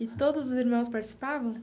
E todos os irmãos participavam?